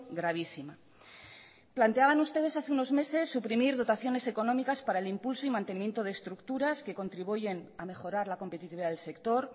gravísima planteaban ustedes hace unos meses suprimir dotaciones económicas para el impulso y mantenimiento de estructuras que contribuyen a mejorar la competitividad del sector